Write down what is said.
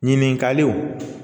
Ɲininkaliw